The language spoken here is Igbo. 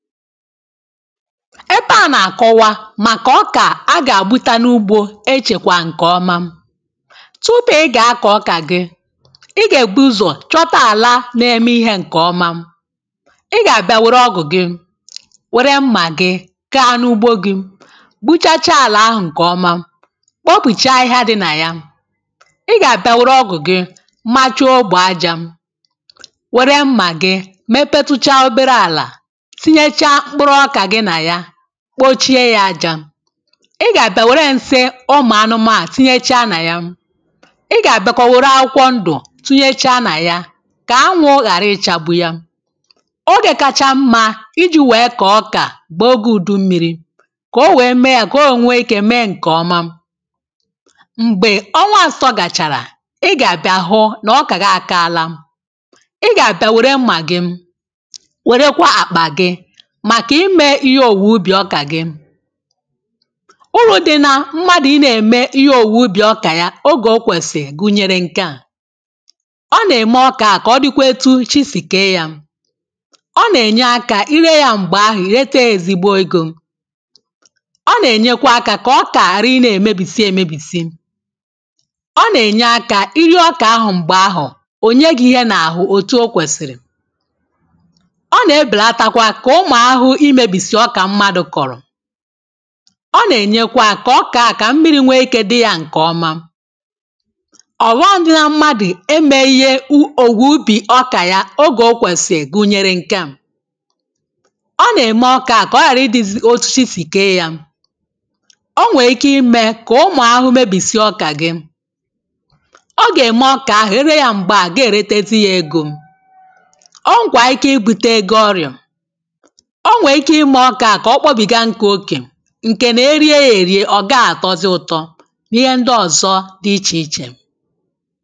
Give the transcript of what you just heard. Ebe a nà-àkọwa màkà ọkà a gà-àgbụta n’ugbȯ echèkwa ǹkè ọma. Tụpụ ị gà-akọ̀ ọkà gị, ị gà-ègbu ụzọ̀ chọta àla n’eme ihe ǹkè ọma ị gà-àbịa wère ọgụ̀ gị, wère mmà gị gaa n’ugbo gị gbuchacha àlà ahụ̀ ǹkè ọma, kpopùchaa ahịhịa dị nà ya. Ị gà-àbịa wère ọgụ̀ gị machuo ogbè ajȧ, wère mmà gị mepetuchaa obere àlà kpochie ya ajȧ. Ị gà-àbịa wère nsị ụmụ̀ anụma tinyéchàà nà yà, ị gà-àbịa kà ọ wère akwụkwọ ndụ̀ tụnyèshàà nà yà, kà ánwụ̇ ghàra ichȧgbu ya. Ogè kacha mmȧ iji̇ wèe kà ọkà gbào ogė ùdummiri, kà o wèe mee ya kà o wèe nwee ikė mee ǹkè ọma. Mgbè ọnwa àsọ gàchàrà i gà-àbịa hụ nà ọkà gị akaala. Ị gà-àbịa wère mmà gị wèrekwa àkpà gị màkà imė ihe òwùwè ubì ọkà gị. Ùrù dị nȧ mmadụ̀ ị nȧ-ème ihe òwùwè ubì ọkà ya ogè okwèsì gụ̀nyere nke à- Ọ nà-ème ọkà a kà ọ dịkwa etu chi sì kèe yȧ, Ọ nà-ènye akȧ irė yȧ m̀gbè ahụ̀ reta ezigbo egȯ. Ọ nà-ènyekwa akȧ kà ọ kà àrà ị nȧ-èmebisi èmèbisi. Ọ nà-ènye akȧ iri ọkà ahụ̀ m̀gbè ahụ̀ ò nye gị ihe n’àhụ òtù okwèsìrì. Ọ nà-ebèlàtà kwà kà ụ́mụ̀ áhụ́hụ́ imébìsì ọka mmadụ kọrọ. Ọ nà-ènyekwa kà ọkà à kà mmiri̇ nwẹ ike dị yȧ ǹkẹ̀ ọma. Ọhọm dị nà mmadụ̀ eme ihe ògwùubì ọkà ya ogè okwèsìrì guyere ǹkẹ̀ a- Ọ nà-ème ọkà à kà ọ ghàra ịdị̇zị osisi sì kee yȧ. O nwèè ike ime kà ụmụ̀ ahụhụ mabìsì ọkà gị. Ọ gà-ème ọkà ahụ̀ ịrịa yȧ m̀gbè a gà-èretesi yȧ egȯ. Ọ nwèkwàà iké ị bùtee gị ọrịà, O nwèè iké ịmè ọkàà kà ọ kpọbìgá nkụ okè, ǹke nà-eri e èrie ọ̀ gaa àtọzị ụtọ, n’ihe ndị ọ̀zọ dị ichè ichè.